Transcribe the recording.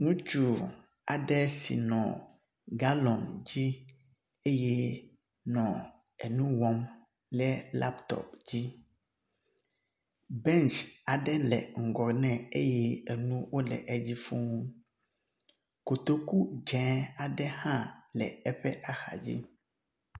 Ŋutsu aɖe si nɔ galɔn dzi eye nɔ enu wɔm le laptɔp dzi. bentsi aɖe le ŋgɔ nɛ eye enu wo le edzi fuu. Kotoku dze aɖe hã le eƒe axa dzi.